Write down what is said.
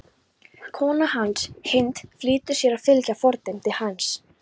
Kona hans, Hind, flýtir sér að fylgja fordæmi hans.